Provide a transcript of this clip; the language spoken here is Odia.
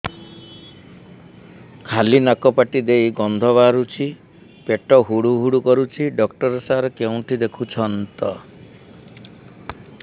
ଖାଲି ନାକ ପାଟି ଦେଇ ଗଂଧ ବାହାରୁଛି ପେଟ ହୁଡ଼ୁ ହୁଡ଼ୁ କରୁଛି ଡକ୍ଟର ସାର କେଉଁଠି ଦେଖୁଛନ୍ତ